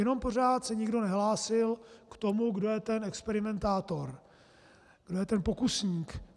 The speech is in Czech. Jenom se pořád nikdo nehlásil k tomu, kdo je ten experimentátor, kdo je ten pokusník.